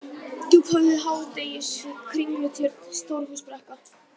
Djúphöfði, Hádegisvik, Kringlutjörn, Stórhúsbrekka